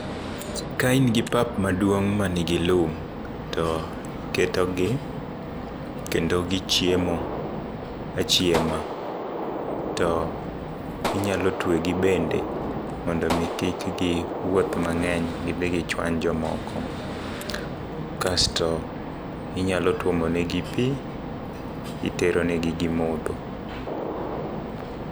Ka in gi pap maduong' manigi lum, to iketogi kendo gichiemo achiema, to inyalo twegi bende mondo omi kik giwuoth mang'eny gidhi gichwany jomoko. Kasto inyalo tuomonegi pi, iteronegi gidhi gimodho.